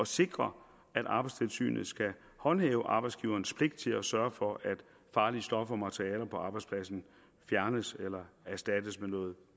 sikre at arbejdstilsynet håndhæver arbejdsgiverens pligt til at sørge for at farlige stoffer og materialer på arbejdspladsen fjernes eller erstattes med noget